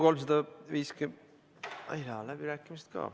Avan läbirääkimised.